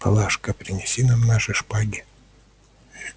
палашка принеси нам наши шпаги